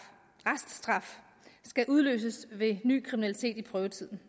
skal udløses ved ny kriminalitet i prøvetiden